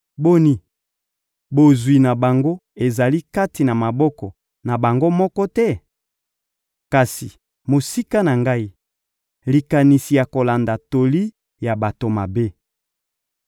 Boni, bozwi na bango ezali kati na maboko na bango moko te? Kasi mosika na ngai, likanisi ya kolanda toli ya bato mabe!